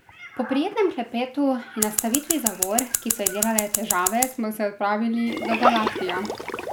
Po prijetnem klepetu in nastavitvi zavor, ki so ji delale težave, smo se odpravili do Galatija.